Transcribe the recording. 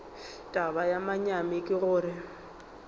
taba ya manyami ke gore